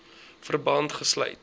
verband gesluit